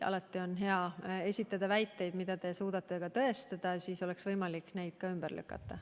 Alati on hea esitada väiteid, mida te suudate ka tõestada, siis on võimalik neid ka ümber lükata.